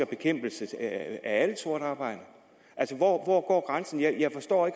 bekæmpelsen af alt sort arbejde hvor hvor går grænsen jeg forstår det